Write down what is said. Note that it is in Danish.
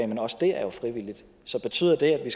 men også det er jo frivilligt så betyder det at vi